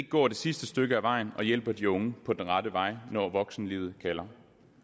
går det sidste stykke af vejen og hjælper de unge på den rette vej når voksenlivet kalder